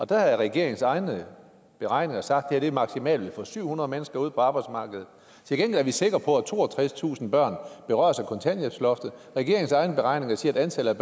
der har regeringens egne beregninger sagt at det her maksimalt vil få syv hundrede mennesker ud på arbejdsmarkedet til gengæld er vi sikre på at toogtredstusind børn berøres af kontanthjælpsloftet regeringens egne beregninger siger at antallet